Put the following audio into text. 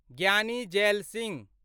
Giani Zail Singh